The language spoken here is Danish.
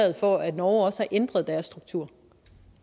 norge også har ændret deres struktur